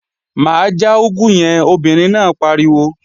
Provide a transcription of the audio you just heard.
Má já úgú yẹn, obìnrin náà pariwo!